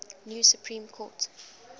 new supreme court